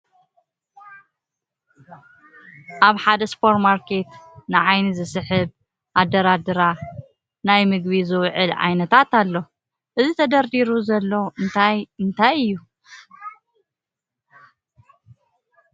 ኣብ ሓደ ሱፐር ማርኬት ንዓይኒ ዝስሕብ ኣደራድራ ናይ ምግቢ ዝውዕሉ ዓይነታት ኣሎ ። እዚ ተደርዲሩ ዘሎ እንታት እንታይ እዩ ?